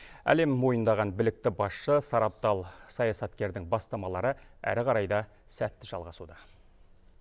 әлем мойындаған білікті басшы сарабдал саясаткердің бастамалары әрі қарай да сәтті жалғасуда